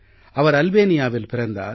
அவர் அல்பேனியாவில் பிறந்தார்